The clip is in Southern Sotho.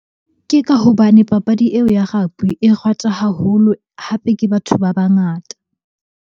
Ke ka hobane papadi eo ya rugby e ratwa haholo, hape ke batho ba bangata.